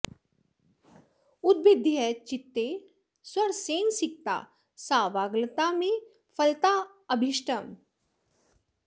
उद्भिद्य चित्ते स्वरसेन सिक्ता सा वाग्लता मे फलतादऽभीष्टम्